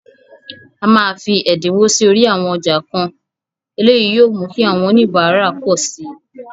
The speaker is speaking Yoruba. A máa fi ẹ̀dínwó sí orí àwọn ọjà kan, eléyìí yóò mú kí àwọn oníbàárà pọ̀ síi.